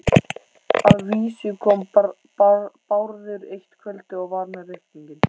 Að vísu kom Bárður eitt kvöldið og var með reikning.